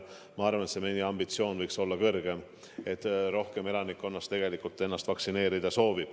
Ma arvan, et meie ambitsioon võiks olla kõrgem, rohkem elanikke võiks soovida lasta ennast vaktsineerida.